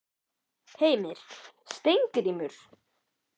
Heimir: Steingrímur?